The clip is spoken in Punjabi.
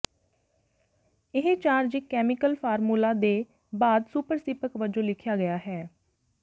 ਇਹ ਚਾਰਜ ਇੱਕ ਕੈਮੀਕਲ ਫਾਰਮੂਲਾ ਦੇ ਬਾਅਦ ਸੁਪਰਸਿਪਕ ਵਜੋਂ ਲਿਖਿਆ ਗਿਆ ਹੈ